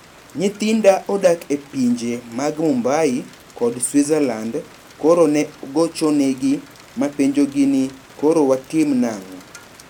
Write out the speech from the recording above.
Nyithinda odak e pinje mag Mumbai kod Switzerland koro ne gochonegi mapenjogi ni koro watim nang`o?